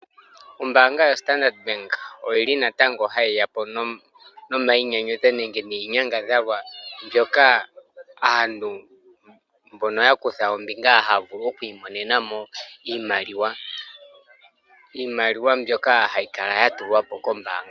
Ombaanga yo Standard bank oyili natango hayi ya po nomayinyanyudho nenge niinyangadhalwa mbyoka aantu mbono ya kutha ombinga haya vulu oku i monena mo iimaliwa .Iimaliwa mbyoka hayi kala ya tulwa po kombaanga.